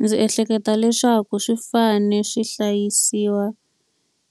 Ndzi ehleketa leswaku swi fanele swi hlayisiwa